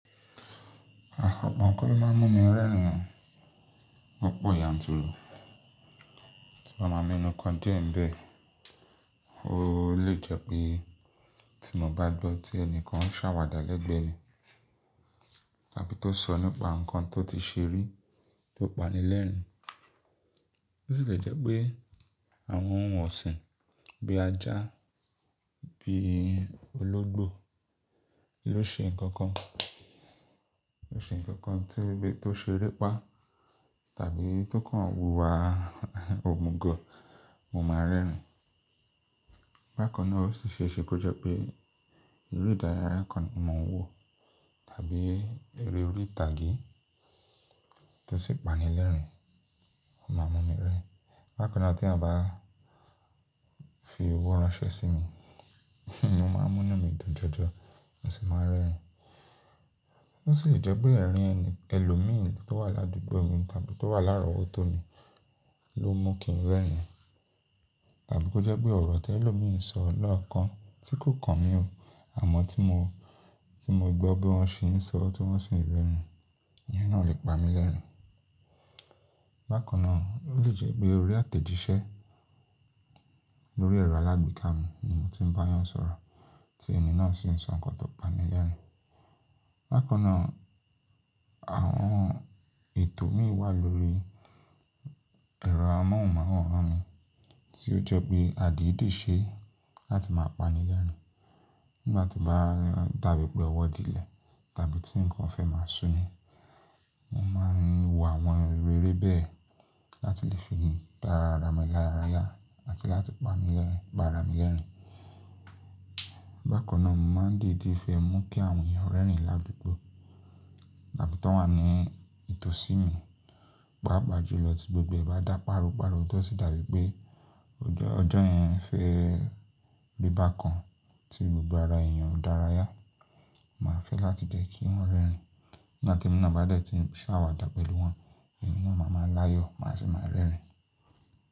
O po nnkan ló máa ń mú mi rẹ́rìn o lo pọ̀ yanturu. Tí mba máa mẹnu kan dié ńbẹ̀, ó lè jẹ́ pé tí mo bá gbọ́ tí ẹnìkan ń ṣàwàdà lẹ́gbẹ̀ẹ́ mi, tàbí tó sọ nípa nǹkan tó ti ṣe rí tó pa ni lẹ́rìn-ín. Ó sì lè jẹ́ pé àwọn ohun ọ̀sìn bí ajá, bí ológbò ló ṣe nǹkan kan, ló ṣe nǹkan kan kan tí bí tó ṣe ere pa tàbí tó kàn hùwà òmùgọ̀, mo máa rẹ́rìn-ín. Bákan náà ó sì ṣe é ṣe pé ó jẹ́ pé irú ìdàrayà kan ni mo ń wò tàbí eré orí ìtàgé tó sì pa ni lẹ́rìn-ín, ó máa mú mi rẹ́rìn-ín. Bákan náà teeyan bá fi owó ránṣẹ́ sí mi, mo máa múnu mí dun jọjọ̀, mo sì máa rẹ́rìn-ín. Ó sì lè jẹ́ pé ẹ̀rín ẹni, ẹlòmíìn tó wà ládúgbò mi tàbí tó wà lárọ̀wọ́ tó mi ló mú kí n rẹ́rìn-ín. Tàbí kó jẹ́ pé ọ̀rọ̀ tẹlòmíìn sọ lọ́ọ̀kan tí kò kàn mí ò, àmọ́ tí mo, tí mo gbọ́ bí wọ́n ṣe ń sọ, tí wọ́n sì ń rẹ́rìn-ín, ìyẹn náà lè pa mi lẹ́rìn-ín. Bákan náà ó lè jẹ́ pé orí àtẹ̀jíṣẹ́ lórí ẹ̀rọ alágbéká mi ni mo ti ń bá a yàn sọ̀rọ̀ tí ẹni náà sì ń sọ nǹkan tó pa mi lẹ́rìn-ín. Bákan náà àwọn ètò mi wà lórí ẹ̀rọ amóhùnmáwòrán mi tí ó jẹ́ pé a dì í dì ṣe láti máa pa ni lẹ́rìn-ín. Nígbà tí o baa dàbí pé ọwọ́ dílẹ̀ tàbí tí nǹkan fẹ́ máa ṣú mi, mo máa ń wo àwọn eré bẹ́ẹ̀ láti lè fi dá ara mi lára yá àti láti pa mi lẹ́rìn-ín, p'ára mi lẹ́rìn-ín. Bákan náà mo máa ń diidí fẹ́ mú kí àwọn èèyàn rẹ́rìn-ín ládùgbò tàbí t'ón wà ní ìtòsí mi, pààpa jùlọ tí gbogbo ẹ̀ bá dá páropàro tó sì dàbí pé ọjọ́ yẹn fẹ́ ri i bákan tí gbogbo ara èèyàn o dárayá, màá fẹ́ láti jẹ́ kí wọ́n rẹ́rìn-ín. Nígbà temí nàá bá dẹ̀ tí ń ṣàwàdà pẹ̀lú wọn, èmi náà màá máa láyọ̀, màá sì máa rẹ́rìn-ín.